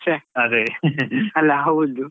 ಛೆ ಅಲ್ಲಾ ಹೌದು.